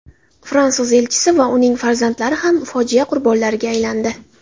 Fransuz elchisi va uning farzandlari ham fojia qurbonlariga aylandi .